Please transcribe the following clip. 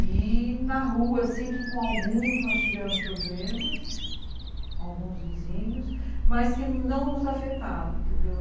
E na rua, sim, que com alguns nós tivemos problemas, alguns vizinhos, mas que não nos afetaram, entendeu?